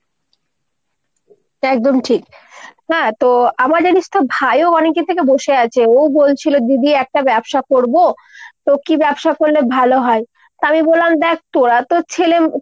একদম ঠিক। হ্যাঁ তো আমার জানিস তো ভাই ও অনেকদিন থেকে বসে আছে। ও বলছিলো দিদি একটা ব্যবসা করবো। তো কী ব্যবসা করলে ভালো হয় ? তা আমি বললাম দ্যাখ তোরা তো ছেলে